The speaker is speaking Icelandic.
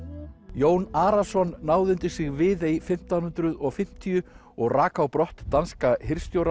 Jón Arason náði undir sig Viðey fimmtán hundruð og fimmtíu og rak á brott danska